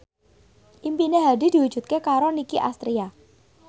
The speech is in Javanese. impine Hadi diwujudke karo Nicky Astria